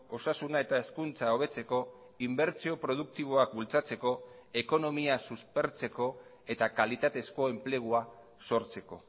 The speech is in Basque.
osasuna eta hezkuntza hobetzeko inbertsio produktiboak bultzatzeko ekonomia suspertzeko eta kalitatezko enplegua sortzeko